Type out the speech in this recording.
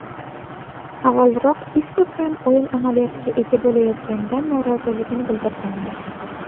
Avvalroq Isko kam o‘yin amaliyotiga ega bo‘layotganidan noroziligini bildirgandi .